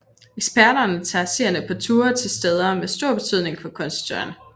Eksperterne tager seerne på ture til steder med stor betydning for kunsthistorien